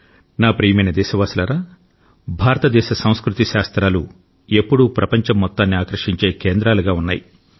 నా ప్రియమైన దేశవాసులారా భారతదేశం సంస్కృతి శాస్త్రాలు ఎప్పుడూ ప్రపంచం మొత్తాన్ని ఆకర్షించే కేంద్రాలుగా ఉన్నాయి